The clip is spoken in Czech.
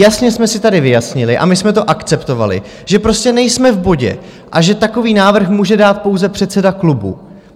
Jasně jsme si tady vyjasnili, a my jsme to akceptovali, že prostě nejsme v bodě a že takový návrh může dát pouze předseda klubu.